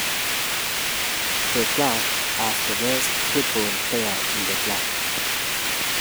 The club has the best football players in the country.